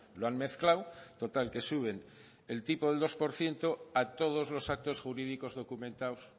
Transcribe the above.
lo han mezclado total que suben el tipo del dos por ciento a todos los actos jurídicos documentados